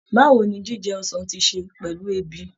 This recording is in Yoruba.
Báwo ni jíjẹ ọsàn ti ṣe pẹ̀lú ebi?